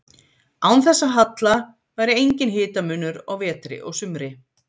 Án þessa halla væri enginn hitamunur á vetri og sumri.